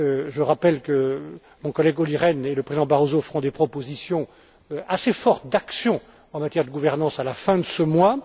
Je rappelle que mon collègue Olli Rehn et le président Barroso feront des propositions assez fortes d'action en matière de gouvernance à la fin de ce mois.